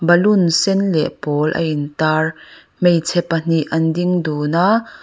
balloon sen leh pawl a in tar hmeichhe pahnih an ding dun a.